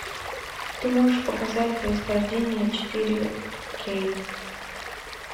ты можешь показать происхождение четыре кей